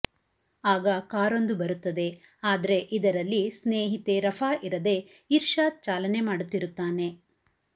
ಆಗ ಕಾರೊಂದು ಬರುತ್ತದೆ ಆದ್ರೆ ಇದರಲ್ಲಿ ಸ್ನೇಹಿತೆ ರಫಾ ಇರದೆ ಇರ್ಷಾದ್ ಚಾಲನೆ ಮಾಡುತ್ತಿರುತ್ತಾನೆ